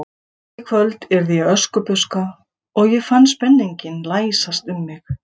En í kvöld yrði ég Öskubuska og ég fann spenninginn læsast um mig.